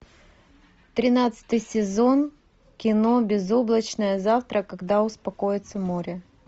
тринадцатый сезон кино безоблачное завтра когда успокоится море